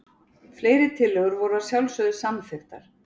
Fleiri tillögur voru að sjálfsögðu samþykktar